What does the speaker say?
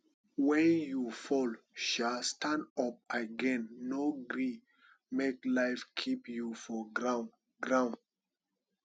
wen you fall um stand up again no gree make life keep you for ground ground